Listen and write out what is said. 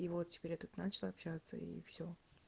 и вот теперь я тут начал общаться и все